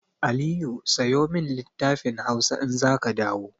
Aliyu sayo min littafin Hausa in za ka dawo!